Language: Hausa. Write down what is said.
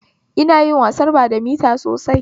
Ina yin wasar badamita sosai